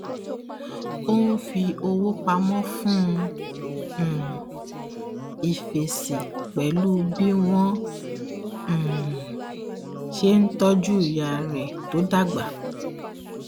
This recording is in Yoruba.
ó n fi owó pamọ fún um ìfẹsìn pẹlú bí wọn um ṣe ń tọju ìyá rẹ tó dàgbà